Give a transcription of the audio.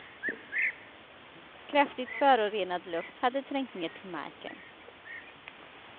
Kraftigt förorenad luft hade trängt ner till marken.